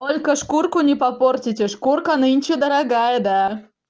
только шкурку не попортить и шкурка нынче дорогая да